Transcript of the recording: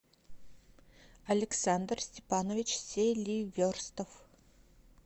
александр степанович селиверстов